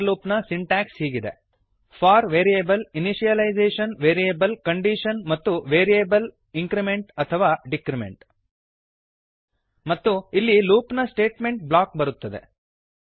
for loop ನ syntax ಹೀಗಿದೆ for variable initialisation variable condition ಮತ್ತು ವೇರಿಯೇಬಲ್ ಇಂಕ್ರಿಮೆಂಟ್ ಅಥವಾ ಡಿಕ್ರಿಮೆಂಟ್ ಮತ್ತು ಇಲ್ಲಿ ಲೂಪ್ ನ ಸ್ಟೇಟ್ಮೆಂಟ್ ಬ್ಲಾಕ್ ಬರುತ್ತದೆ